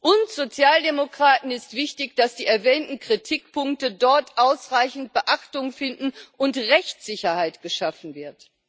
Uns Sozialdemokraten ist wichtig, dass die erwähnten Kritikpunkte dort ausreichend Beachtung finden und Rechtssicherheit geschaffen wird.